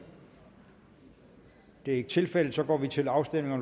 det er ikke tilfældet nu går vi til afstemning